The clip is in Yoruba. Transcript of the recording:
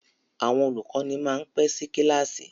Àwọn olùkọ́ni máa ń pẹ́ sí kíláàsì.